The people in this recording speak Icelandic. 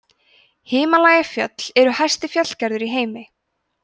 himalajafjöll eru hæsti fjallgarður í heimi